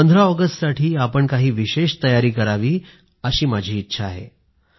15 ऑगस्टसाठी आपण काही विशेष तयारी करावी अशी माझी इच्छा आहे